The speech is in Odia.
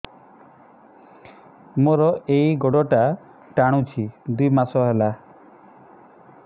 ମୋର ଏଇ ଗୋଡ଼ଟା ଟାଣୁଛି ଦୁଇ ମାସ ହେଲା